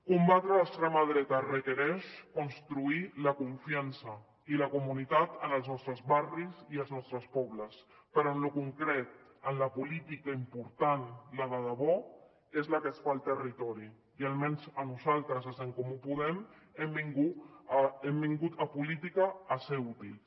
combatre l’extrema dreta requereix construir la confiança i la comunitat en els nostres barris i els nostres pobles però en lo concret en la política important la de debò és la que es fa al territori i almenys a nosaltres des d’en comú podem hem vingut a política a ser útils